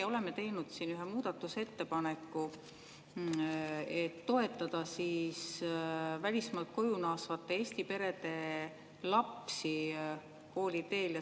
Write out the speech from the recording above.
Me oleme teinud ühe muudatusettepaneku, et toetada välismaalt koju naasvate Eesti perede lapsi kooliteel.